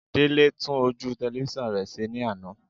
Délé tún ojú tẹlifísàn rẹ̀ ṣe ní àná